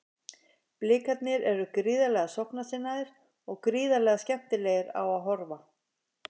Blikarnir eru gríðarlega sóknarsinnaðir og gríðarlega skemmtilegir á að horfa.